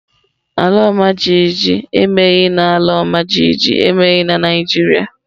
Ala ọmajiji emeghị na ala ọmajiji emeghị na Naịjirịa.